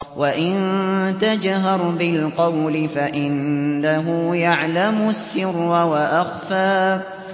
وَإِن تَجْهَرْ بِالْقَوْلِ فَإِنَّهُ يَعْلَمُ السِّرَّ وَأَخْفَى